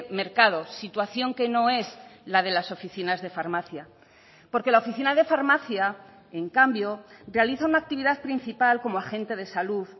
mercado situación que no es la de las oficinas de farmacia porque la oficina de farmacia en cambio realiza una actividad principal como agente de salud